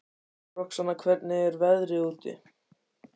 Roxanna, hvernig er veðrið úti?